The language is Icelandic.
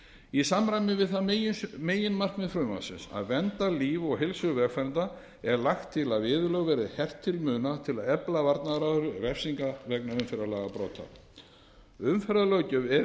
í samræmi við það meginmarkmið frumvarpsins að vernda líf og heilsu vegfarenda er lagt til að viðurlög verði hert til muna til að efla varnaðaráhrif refsinga vegna umferðarlagabrota umferðarlöggjöf er í eðli